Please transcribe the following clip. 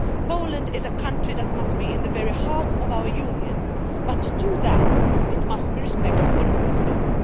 Poland is a country that must be at the very heart of our Union, but, to that end, it must respect the rule of law.